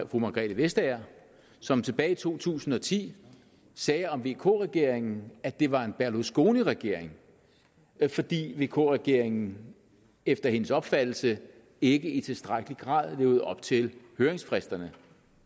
fru margrethe vestager som tilbage i to tusind og ti sagde om vk regeringen at det var en berlusconiregering fordi vk regeringen efter hendes opfattelse ikke i tilstrækkelig grad levede op til høringsfristerne